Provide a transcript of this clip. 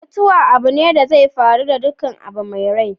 Mutuwa abune da zai faru da dukkan abu mai rai.